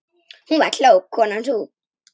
Hún var klók, konan sú.